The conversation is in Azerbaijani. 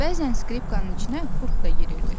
Bəzən skripkanın içinə qurd da girirdi.